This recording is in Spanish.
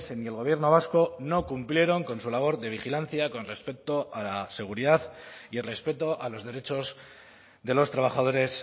ni el gobierno vasco no cumplieron con su labor de vigilancia con respecto a la seguridad y respeto a los derechos de los trabajadores